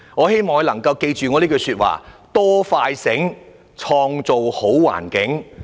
希望局長能夠記着這句話："多快醒，創造好環境"。